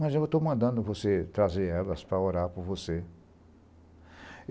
Mas eu estou mandando você trazer elas para orar por você.